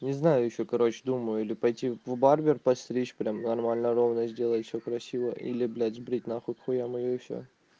не знаю ещё короче думаю или пойти в барбер подстричь прям нормально ровно сделать все красиво или блять сбрить нахуй к хуям её и все